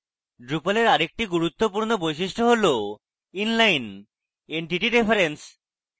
drupal এর আরেকটি গুরুত্বপূর্ণ বৈশিষ্ট্য হল inline entity reference